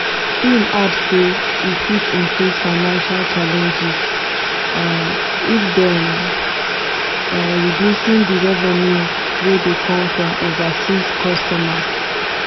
im add say e fit increase financial challenges um if dem um reducing di revenue wey dey come from overseas customers.